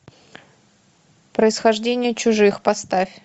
происхождение чужих поставь